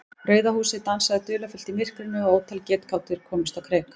Rauða húsið dansaði dularfullt í myrkrinu og ótal getgátur komust á kreik.